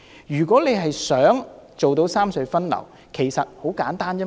如果想做到三隧分流，其實方法很簡單。